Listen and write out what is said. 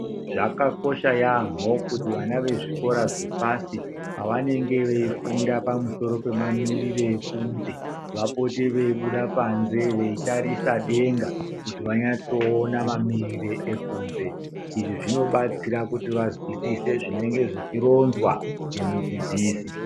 Zvakakosha yambo kuti vana vezvikora zvepashi pavanenge veifunda ngezve mamiriro ekunze vapote veibuda panze veitarisa denga kuti vanyaso ona mamiriro ekunze izvi zvinobatsira vanzwisise zvinenge zvichirinzwa nemudzidzisi.